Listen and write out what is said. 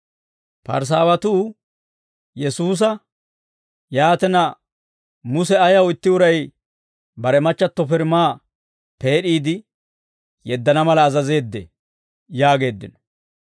Parisaawatuu Yesuusa, «Yaatina, Muse ayaw itti uray bare machchatto pirimaa peed'iide yeddana mala azazeeddee?» yaageeddino.